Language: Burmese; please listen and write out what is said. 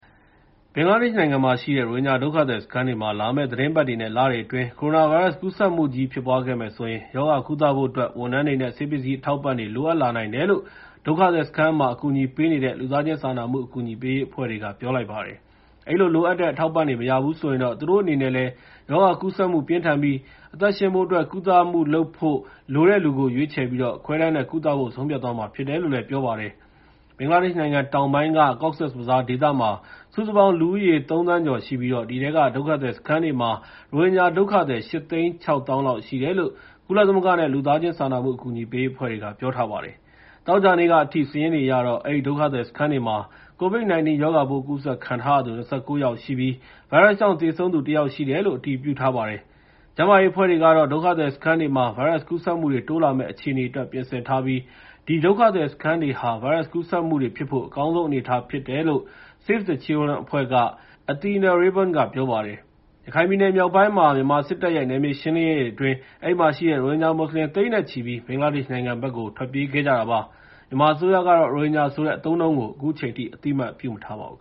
ဘင်္ဂလားဒေ့ရှ်နိုင်ငံမှာရှိတဲ့ ရိုဟင်ဂျာ ဒုက္ခသည်စခန်းတွေမှာ လာမယ့်သီတင်းပတ်တွေနဲ့ လတွေအတွင်း ကိုရိုနာဗိုင်းရပ်စ် ကူးစက်မှုကြီး ဖြစ်ပွားခဲ့မယ်ဆိုရင် ရောဂါကုသဖို့အတွက် ဝန်ထမ်းတွေနဲ့ ဆေးပစ္စည်း အထောက်အပံ့တွေ လိုအပ်လာနိုင်တယ်လို့ ဒုက္ခသည်စခန်းမှာ အကူအညီပေးနေတဲ့ လူသားချင်းစာနာမှု အကူအညီပေးရေး အဖွဲ့တွေက ပြောလိုက်ပါတယ်။ အဲဒီ လိုအပ်တဲ့ အထောက်အပံ့တွေ မရဘူးဆိုရင်တော့ သူတို့အနေနဲ့လည်း ရောဂါကူးစက်မှု ပြင်းထန်ပြီး အသက်ရှင်ဖို့အတွက် ကုသမှုလုပ်ဖို့ လိုတဲ့လူကို ရွေးချယ်ပြီး ခွဲတမ်းနဲ့ ကုသဖို့ ဆုံးဖြတ်သွားရမှာ ဖြစ်တယ်လို့ ပြောပါတယ်။ ဘင်္ဂလားဒေ့ရှ်နိုင်ငံ တောင်ပိုင်းက Cox’s Bazaar ဒေသမှာ စုစုပေါင်း လူဦးရေ ၃ သန်းကျော်ရှိပြီး အဲဒီက ဒုက္ခသည်စခန်းတွေမှာ ရိုဟင်ဂျာဒုက္ခသည် ၈၆၀,၀၀၀ လောက်ရှိတယ်လို့ ကုလသမဂ္ဂနဲ့ လူသားစာနာမှု အကူအညီပေး အဖွဲ့တွေက ပြောထားပါတယ်။ သောကြာနေ့ကအထိ စာရင်းတွေအရတော့ အဲဒီ ဒုက္ခသည်စခန်းတွေမှာ COVID-19 ရောဂါပိုး ကူးစက်ခံထားရသူ ၂၉ ယောက်ရှိပြီး ဗိုင်းရပ်စ်ကြောင့် သေဆုံးသူ ၁ ယောက်ရှိတယ်လို့ အတည်ပြုထားပါတယ်။ ကျန်းမာရေးအဖွဲ့တွေကတော့ ဒုက္ခသည်စခန်းတွေမှာ ဗိုင်းရပ်စ်ကူးစက်မှုတွေ တိုးလာမယ့် အခြေအနေအတွက် ပြင်ဆင်ထားပြီး ဒီဒုက္ခသည်စခန်းတွေဟာ ဗိုင်းရပ်စ်ကူးစက်မှုတွေဖြစ်ဖို့ အကောင်းဆုံးအနေအထား ဖြစ်နေတယ်လို့ Save the Children အဖွဲ့က Athena Rayburn က ပြောပါတယ်။ ရခိုင်ပြည်နယ်မြောက်ပိုင်းမှာ မြန်မာစစ်တပ်ရဲ့ နယ်မြေရှင်းလင်းရေးတွေအတွင်း အဲဒီမှာရှိတဲ့ ရိုဟင်ဂျာ မွတ်စလင် သိန်းနဲ့ချီပြီး ဘင်္ဂလားဒေ့ရှ်နိုင်ငံဘက်ကို ထွက်ပြေးခဲ့ကြတာ ဖြစ်ပါတယ်။ မြန်မာအစိုးရကတော့ ရိုဟင်ဂျာဆိုတဲ့ အသုံးအနှုန်းကို အခုချိန်ထိ အသိအမှတ်ပြုမထားပါဘူး။